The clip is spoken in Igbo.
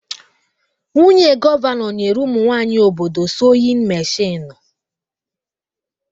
Nwunye gọvanọ nyere ụmụ nwaanyị obodo soyin meshinụ